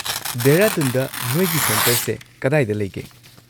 ꯗꯦꯍꯔꯥꯗꯨꯟꯗ ꯅꯣꯏꯒꯤ ꯁꯦꯟꯇꯔꯁꯦ ꯀꯗꯥꯏꯗ ꯂꯩꯒꯦ?